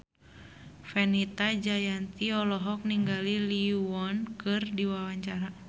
Fenita Jayanti olohok ningali Lee Yo Won keur diwawancara